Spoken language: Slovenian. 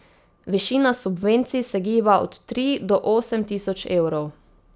Višina subvencij se giba od tri do osem tisoč evrov.